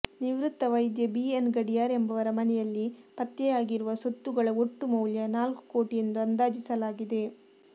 ನಿವೃತ್ತ ವೈದ್ಯ ಬಿಎನ್ ಗಡಿಯಾರ್ ಎಂಬವರ ಮನೆಯಲ್ಲಿ ಪತ್ತೆಯಾಗಿರುವ ಸೊತ್ತುಗಳ ಒಟ್ಟು ಮೌಲ್ಯ ನಾಲ್ಕು ಕೋಟಿ ಎಂದು ಅಂದಾಜಿಸಲಾಗಿದೆ